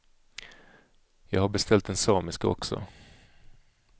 Jag har beställt den samiska också.